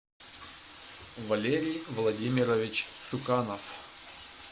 валерий владимирович шуканов